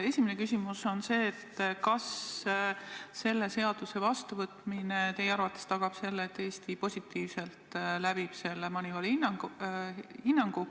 Esimene küsimus on see: kas selle seaduse vastuvõtmine tagab teie arvates selle, et Eesti saab MONEYVAL-ilt positiivse hinnangu?